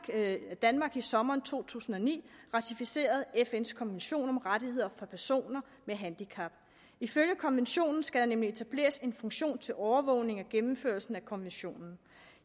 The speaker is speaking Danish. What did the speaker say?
er at danmark i sommeren to tusind og ni ratificerede fn’s konvention om rettigheder for personer med handicap ifølge konventionen skal der nemlig etableres en funktion til overvågning af gennemførelsen af konventionen